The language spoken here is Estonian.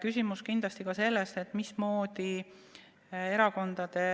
Küsimus on kindlasti ka selles, mismoodi Erakondade